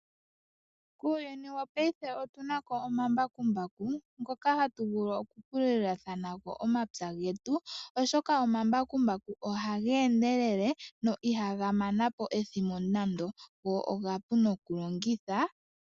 Muuyuni wongashingeyi otuna mo omambakumbaku ngoka haga vulu okupulula nago omapya getu, oshoka omambakumbaku ohaga endelele no ihaga mana po ethimbo nande go omapu nokulongitha.